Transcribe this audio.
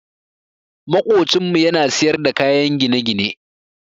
Maƙocinmu ya na siyar da kayan gine-gine.